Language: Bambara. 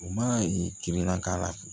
U mana timinan k'a la